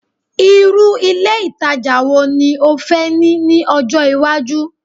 irú ilé ìtajà wo ni o fẹ́ ní ni ọjọ iwaju